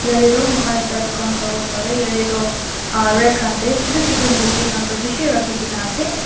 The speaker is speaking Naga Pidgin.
yatae toh mokhan ekta dukan sawo parae yatae toh ah rag khan tae chutu chutu murti khan toh bishi rakhikaena ase.